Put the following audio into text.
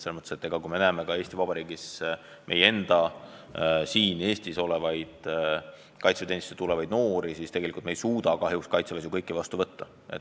Samas me teame, et kõiki Eestis elavaid kaitseväeteenistusse tulevaid noori me ei suuda kahjuks kaitseväes vastu võtta.